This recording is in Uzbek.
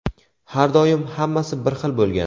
har doim hammasi bir xil bo‘lgan.